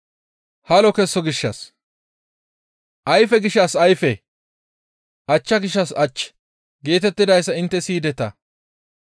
« ‹Ayfe gishshas ayfe, ach gishshas ach› geetettidayssa intte siyideta.